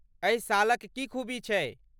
एहि शालक की खूबी छै?